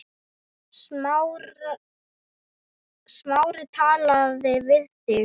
Smári talaði við þig?